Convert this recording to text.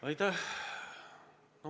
Aitäh!